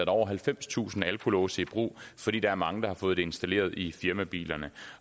over halvfemstusind alkolåse i brug fordi der er mange der har fået det installeret i firmabilerne